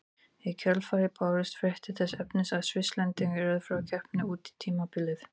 Í kjölfarið bárust fréttir þess efnis að Svisslendingurinn yrði frá keppni út tímabilið.